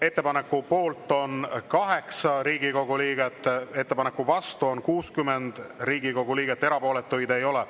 Ettepaneku poolt on 8 Riigikogu liiget, vastu on 60 Riigikogu liiget, erapooletuid ei ole.